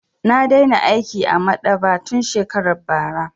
Na daina aiki a maɗaba'a tun shekarar bara.